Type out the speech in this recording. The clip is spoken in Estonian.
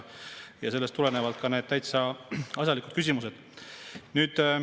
Sellest tulenevalt on need täitsa asjalikud küsimused.